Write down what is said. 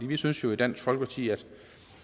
vi synes jo i dansk folkeparti at